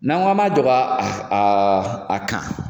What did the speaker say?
N'an ko k'an ma jɔ ka a a kan